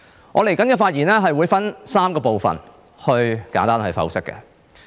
我的發言將會分為3部分，以作簡單剖析。